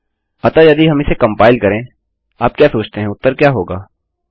अतःयदि हम इसे कंपाइल करें आप क्या सोचते हैं उत्तर क्या होगा